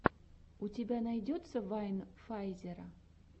у тебя найдется вайн файзера